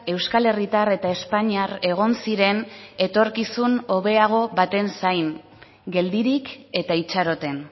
euskal herritar eta espainiar egon ziren etorkizun hobeago baten zain geldirik eta itxaroten